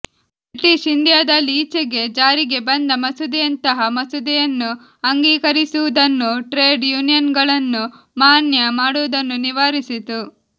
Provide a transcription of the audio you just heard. British ಇಂಡಿಯಾದಲ್ಲಿ ಈಚೆಗೆ ಜಾರಿಗೆ ಬಂದ ಮಸೂದೆಯಂತಹ ಮಸೂದೆಯನ್ನು ಅಂಗೀಕರಿಸುವುದನ್ನು ಟ್ರೇಡ್ ಯೂನಿಯನ್ಗಳನ್ನು ಮಾನ್ಯ ಮಾಡುವುದನ್ನು ನಿವಾರಿಸಿತು